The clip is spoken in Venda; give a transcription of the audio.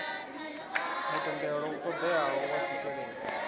mutendelo u ṱoḓeaho wa tswikelelo